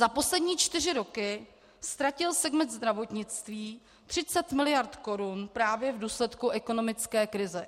Za poslední čtyři roky ztratil segment zdravotnictví 30 mld. korun právě v důsledku ekonomické krize.